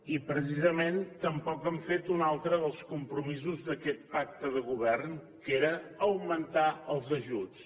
i precisament tampoc han fet un altre dels compromisos d’aquest pacte de govern que era augmentar els ajuts